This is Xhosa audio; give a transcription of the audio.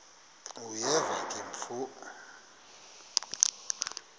uyeva ke mfo